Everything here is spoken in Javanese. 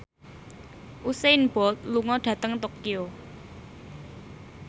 Usain Bolt lunga dhateng Tokyo